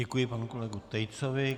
Děkuji panu kolegu Tejcovi.